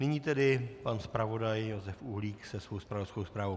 Nyní tedy pan zpravodaj Josef Uhlík se svou zpravodajskou zprávou.